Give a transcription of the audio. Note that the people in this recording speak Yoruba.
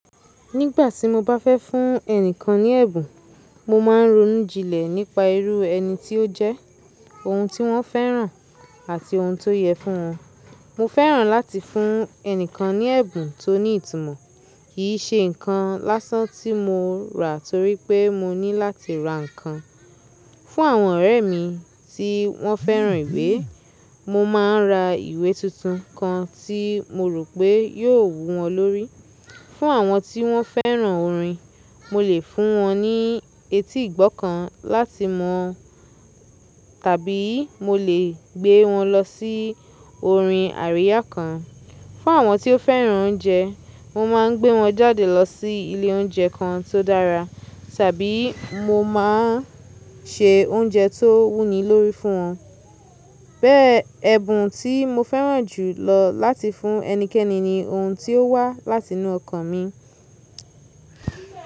Nígbàtí mo bá fẹ́ fún ẹni kan ní ẹ̀bùn, mo máa ń ronú jinlẹ̀ nípa irú ẹni tí ó jẹ́, ohun tí wọ́n fẹ́ràn àti ohun tó yẹ fún wọn. Mo fẹ́ràn láti fún ẹni kan ní ẹ̀bùn tó ní ìtumọ̀. Kìí ṣe nǹkan lásán tí mo rà torí pé mo ní láti ra nǹkan. Fún àwọn ọ̀rẹ́ mi tí wọ́n fẹ́ràn ìwé, mo máa ń ra ìwé tuntun kan tí mo rò pé yóò wú wọn lórí. Fún àwọn tí wọ́n fẹ́ràn orin, mo lè fún wọn ní etí ìgbọ́ kan láti mọ tàbí mo lè gbé wọn lọ sí orin àríyá kan. Fún àwọn tí ó fẹ́ràn oúnjẹ, mo má a ń gbé wọn jáde lọ sí ilé oúnjẹ kan tó dára, tàbí mo máa ń ṣe oúnjẹ tó wù ní lórí fún wọn. Bẹ́ẹ̀, ẹ̀bùn tí mo fẹ́ràn jù lọ láti fún ẹnikẹ́ni ni ohun tí ó wá láti inú ọkàn mi.